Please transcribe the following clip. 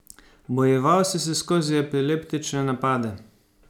Bojeval si se skozi epileptične napade.